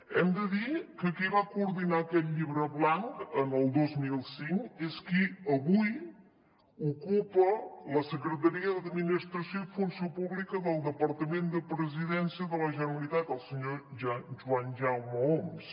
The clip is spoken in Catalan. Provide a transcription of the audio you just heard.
hem de dir que qui va coordinar aquest llibre blanc en el dos mil cinc és qui avui ocupa la secretaria d’administració i funció pública del departament de presidència de la generalitat el senyor joan jaume oms